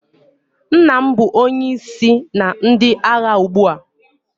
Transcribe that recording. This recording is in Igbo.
Nna m bụ onye isi na ndị agha ugbu a.